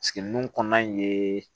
kɔnɔna in ye